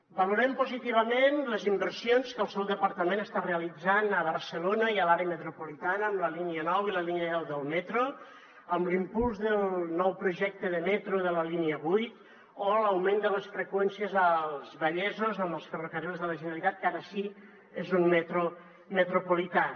valorem positivament les inversions que el seu departament està realitzant a barcelona i a l’àrea metropolitana amb la línia nou i la línia deu del metro amb l’impuls del nou projecte de metro de la línia vuit o l’augment de les freqüències als vallesos amb els ferrocarrils de la generalitat que ara sí que és un metro metropolità